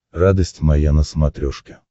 радость моя на смотрешке